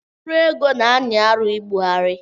Mkpụrụ ego na-anyị arụ mbugharị